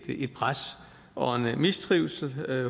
et pres og en mistrivsel